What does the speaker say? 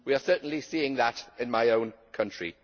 We are certainly seeing that in my own country.